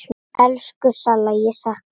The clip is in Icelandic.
Elsku Salla, ég sakna þín.